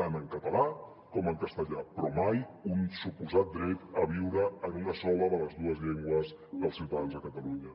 tant en català com en castellà però mai un suposat dret a viure en una sola de les dues llengües dels ciutadans de catalunya